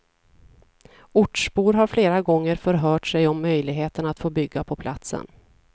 Ortsbor har flera gånger förhört sig om möjligheten att få bygga på platsen.